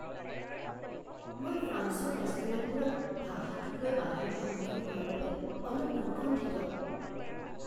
মই ফ্ৰান্সৰ ৰেষ্টুৰেণ্টবোৰত ভাষাটোক লৈ বাধাৰ সন্মুখীন হোৱাৰ বাবে অলপ উৎকণ্ঠিত।